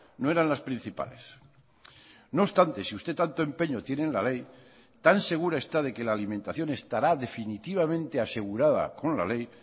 no eran las principales no obstante si usted tanto empeño tiene en la ley tan segura está de que la alimentación estará definitivamente asegurada con la ley